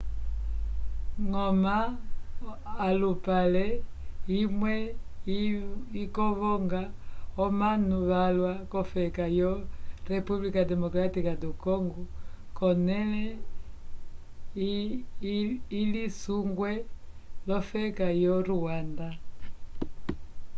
goma olupale imwe ikovonga omanu valwa k'ofeka yo república democrática do congo k'onẽle ilisungwe l'ofeka yo rwanda